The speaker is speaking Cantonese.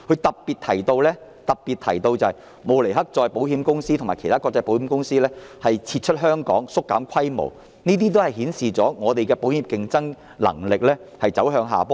當中特別提到，慕尼黑再保險公司及其他國際保險公司已撤出香港或縮減在香港的規模，顯示香港保險業的競爭能力走向下坡。